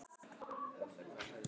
Nú er spurningin?